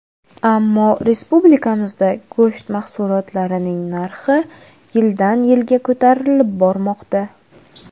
Ammo respublikamizda go‘sht mahsulotlarining narxi yildan-yilga ko‘tarilib bormoqda.